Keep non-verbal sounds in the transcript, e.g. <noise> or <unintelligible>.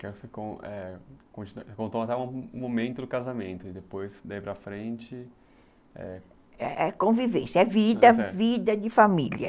<unintelligible> Você contou até o momento do casamento e depois, daí para frente... É convivência, é vida, vida de família.